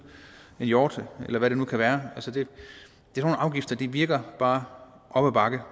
en hjort eller hvad det nu kan være det virker bare op ad bakke